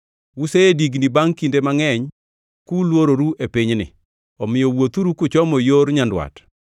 “Usedigni bangʼ kinde mangʼeny kulwororu e pinyni, omiyo wuothuru kuchomo yor nyandwat.